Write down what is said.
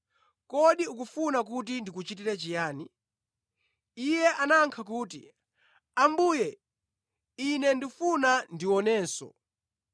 “Kodi ukufuna kuti ndikuchitire chiyani?” Iye anayankha kuti, “Ambuye, ine ndifuna ndionenso.”